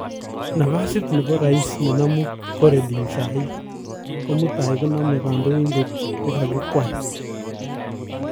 Nafasit nebo rais nenamu koredin sahii komutai koname kandoindet nekokikweeei